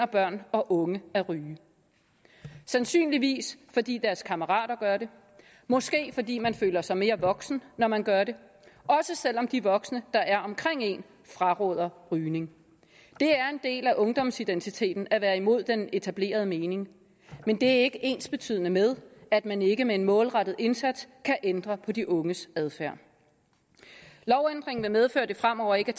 børn og unge at ryge sandsynligvis fordi deres kammerater gør det måske fordi man føler sig mere voksen når man gør det også selv om de voksne der er omkring en fraråder rygning det er en del af ungdomsidentiteten at være imod den etablerede mening men det er ikke ensbetydende med at man ikke med en målrettet indsats kan ændre på de unges adfærd lovændringen vil medføre at det fremover ikke